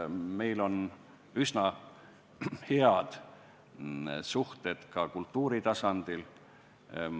Meil on üsna head suhted ka kultuuritasandil.